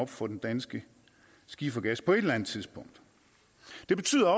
for den danske skifergas på et eller andet tidspunkt det betyder